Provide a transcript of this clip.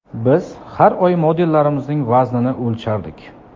Biz har oy modellarimizning vaznini o‘lchardik.